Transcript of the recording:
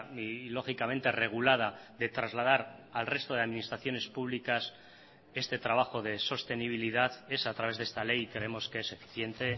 y lógicamente regulada de trasladar al resto de administraciones públicas este trabajo de sostenibilidad es a través de esta ley y creemos que es eficiente